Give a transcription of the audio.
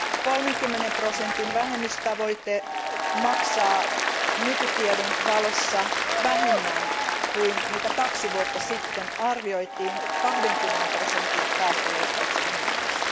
30 prosentin vähennystavoite maksaa nykytiedon valossa vähemmän kuin mitä kaksi vuotta sitten arvioitiin 20 prosentin päästöleikkauksen hinnaksi.